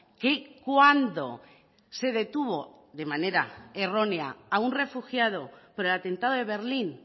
que cuando se detuvo de manera errónea a un refugiado por el atentado de berlín